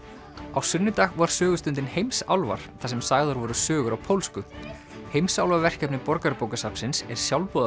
á sunnudag var sögustundin Heimsálfar þar sem sagðar voru sögur á pólsku Borgarbókasafnsins er